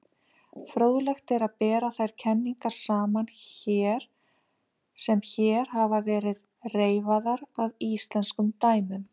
Fróðlegt er að bera þær kenningar sem hér hafa verið reifaðar að íslenskum dæmum.